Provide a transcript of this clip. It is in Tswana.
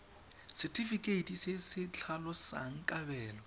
setefikeiti se se tlhalosang kabelo